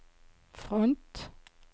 front